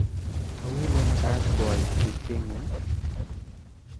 Au lemakaat boib kurtengu?